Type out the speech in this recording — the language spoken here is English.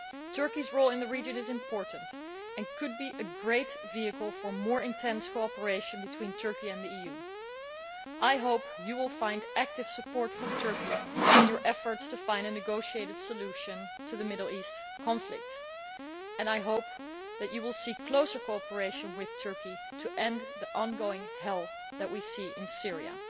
Turkey's role in the region is important and could be a great vehicle for more intensive cooperation between Turkey and the EU. I hope the Commission and High Representative will find active support from Turkey in their efforts to find a negotiated solution to the Middle East conflict, and I hope that they will seek closer cooperation with Turkey to end the ongoing hell that we see in Syria.